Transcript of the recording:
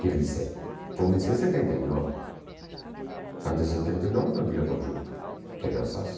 Quer dizer, comecei em setenta e nove, antes de setenta e nove não tinha conjunto que dançasse.